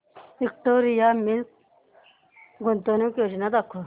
Victoria Mills गुंतवणूक योजना दाखव